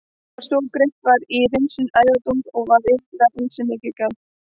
Hefðin var sú að greitt var í hreinsuðum æðadún og var iðulega ansi mikið gjald.